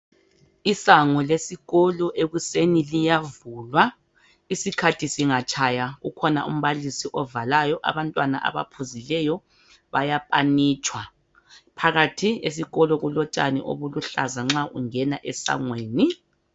Isango lesikolo ekuseni liyavulwa isikhathi singatshaya ukhona umbalisi ovalayo abantwana abaphuzileyo baya panitshwa phakathi esikolo kulotshani obuluhlaza nxa ungena esangweni